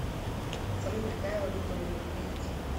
салют какая валюта у ливийцев